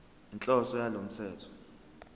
inhloso yalo mthetho